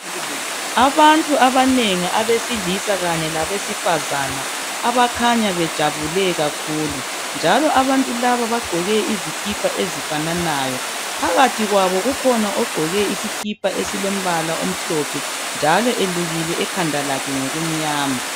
abantu abanengi abesilisa kanye labesifazane abakhanya bejabule kakhulu njalo abantu laba bagqoke izikipa ezifananayo phakathi kwabo kukhona ogqoke isikipa esilombala omhlophe njalo elukile ekhanda lakhe ngokumnyama